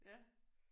Ja